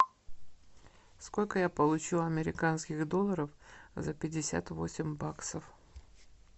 сколько я получу американских долларов за пятьдесят восемь баксов